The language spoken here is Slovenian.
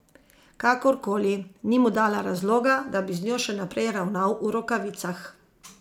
Kakorkoli, ni mu dala razloga, da bi z njo še naprej ravnal v rokavicah.